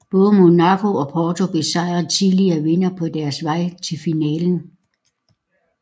Både Monaco og Porto besejrede tidligere vindere på deres vej til finalen